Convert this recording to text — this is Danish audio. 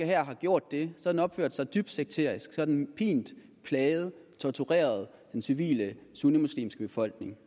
hær har gjort det har den opført sig dybt sekterisk så har den pint plaget og tortureret den civile sunnimuslimske befolkning